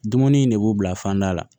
Dumuni in ne b'u bila fanda la